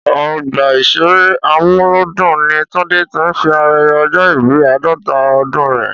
Ọgbà ìṣeré Amúlùúdùn ní Tunde ti ń ṣe ayẹyẹ ọjọ́ ìbí àádọ́ta ọdún rẹ̀